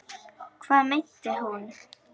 Hvað meinti hún?